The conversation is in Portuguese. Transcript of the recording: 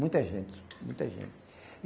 Muita gente, muita gente.